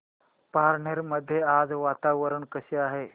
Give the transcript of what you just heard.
पारनेर मध्ये आज वातावरण कसे आहे